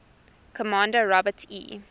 commander robert e